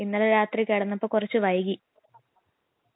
ആ സുഖം ഭക്ഷണം കഴിച്ചോ